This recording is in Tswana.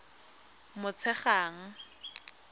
motshegang